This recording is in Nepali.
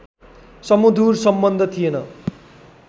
सुमधुर सम्बन्ध थिएन